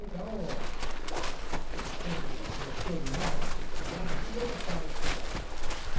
Então, ele sempre gostou demais que eu estudasse e eu gostava de estudar.